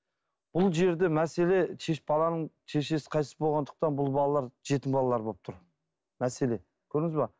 бұл жерде мәселе баланың шешесі қайтыс болғандықтан бұл балалар жетім балалар болып тұр мәселе көрдіңіз бе